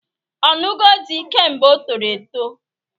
Ọnụgo dị kemgbe o toro etoo?